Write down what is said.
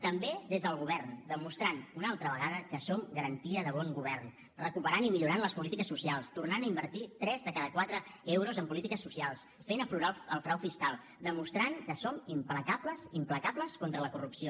també des del govern demostrant una altra vegada que som garantia de bon govern recuperant i millorant les polítiques socials tornant a invertir tres de cada quatre euros en polítiques socials fent aflorar el frau fiscal demostrant que som implacables implacables contra la corrupció